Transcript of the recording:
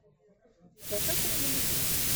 спасатели малибу